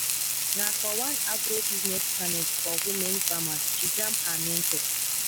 na for one agribusiness panel for women farmers she jam her mentor.